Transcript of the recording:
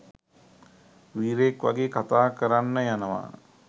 වීරයෙක් වගේ කතා කරන්න යනවා